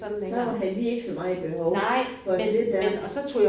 Så havde de ikke så meget behov for det der